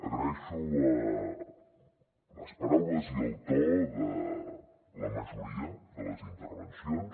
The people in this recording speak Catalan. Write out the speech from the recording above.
agraeixo les paraules i el to de la majoria de les intervencions